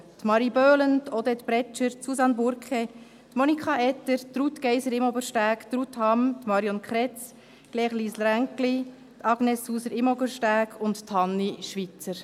Marie Boehlen, Odette Bretscher, Susanne Burke, Monika Etter, Ruth Geiser-Imobersteg, Ruth Hamm, Marion Kretz-Lenz, Claire-Lise Renggli, Agnes Sauser-Imobersteg und Hanni Schweizer.